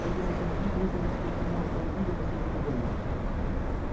эти сосунки прибыли в спортивном автомобиле последней модели